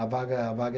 A vaga, a vaga é